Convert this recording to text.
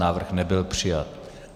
Návrh nebyl přijat.